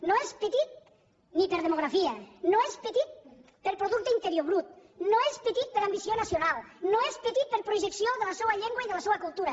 no és petit per demografia no és petit per producte interior brut no és petit per ambició nacional no és petit per projecció de la seua llengua i de la seua cultura